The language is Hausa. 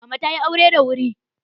Mama ta tayi aure da wuri.